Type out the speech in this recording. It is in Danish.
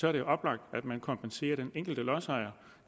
er det oplagt at man kompenserer den enkelte lodsejer